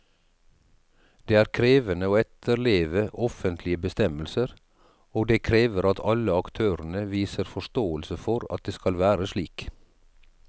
Det er krevende å etterleve offentlige bestemmelser, og det krever at alle aktørene viser forståelse for at det skal være slik.